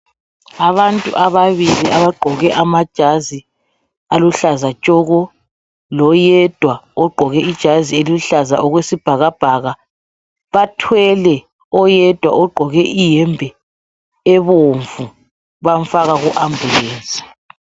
Abantu ababili abagqoke amajazi aluhlaza tshoko lo yedwa ogqoke ijazi eluhlaza okwesibhakabhaka bathwele oyedwa ogqoke iyembe ebomvu bamfaka ku ambulesi.